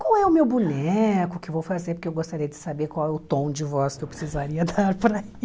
qual é o meu boneco que eu vou fazer, porque eu gostaria de saber qual é o tom de voz que eu precisaria dar para